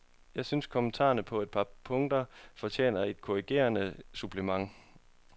Jeg synes kommentaren på et par punkter fortjener et korrigerende supplement.